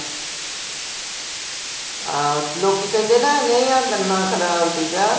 ਹਾਂ, ਲੋਕੀ ਕਹਿੰਦੇ ਨਾ ਨਹੀਂ ਆ ਗੰਨਾ ਖਰਾਬ ਸੀਗਾ